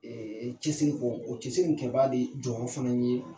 cɛsiri kɔ o cɛsiri in kɛ baga de jɔyɔrɔ fana ye.